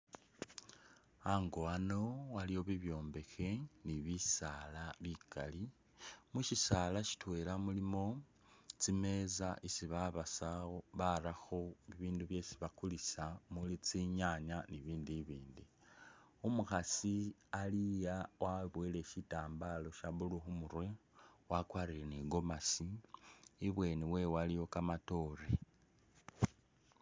A'ngo wano waliwo bibyombekhe ni bisaala bikali mushisaala sitwela mulimo tsimeza isi babasa awo barakho bibindu byesi bakulisa muli tsinyanya ni bibindu i'bindi umukhaasi ali'a wabowele shitambala sha blue khumurwe, wakwalire ni gomesi i'bweni wewe waliwo kamatoore